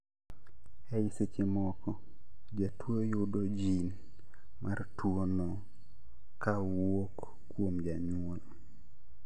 Ei sechemoko, jatuo yudo gene mar tuo no kawuok kuom janyuol